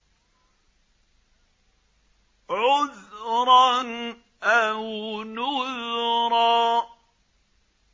عُذْرًا أَوْ نُذْرًا